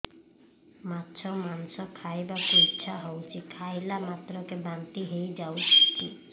ମାଛ ମାଂସ ଖାଇ ବାକୁ ଇଚ୍ଛା ହଉଛି ଖାଇଲା ମାତ୍ରକେ ବାନ୍ତି ହେଇଯାଉଛି